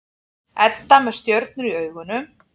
Edda með stjörnur í augunum.